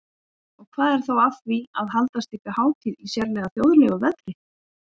Og hvað er þá að því að halda slíka hátíð í sérlega þjóðlegu veðri?